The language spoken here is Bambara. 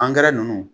Angɛrɛ nunnu